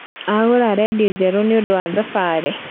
Agũra rendio njerũ nĩũndũ wa thabarĩ